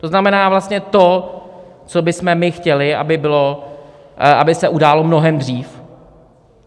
To znamená vlastně to, co bychom my chtěli, aby se událo mnohem dřív.